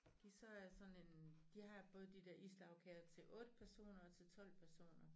Give så er sådan en de har både de dér islagkager til 8 personer og til 12 personer